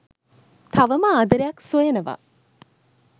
තවම ආදරයක්‌ සොයනවා